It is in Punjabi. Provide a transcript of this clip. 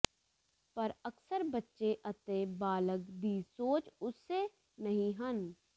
ਪਰ ਅਕਸਰ ਬੱਚੇ ਅਤੇ ਬਾਲਗ ਦੀ ਸੋਚ ਉਸੇ ਨਹੀ ਹਨ